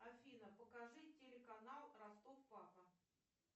афина покажи телеканал ростов папа